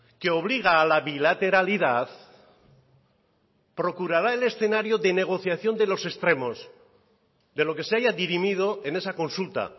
que obliga a la bilateralidad procurará el escenario de negociación de los extremos de lo que se haya dirimido en esa consulta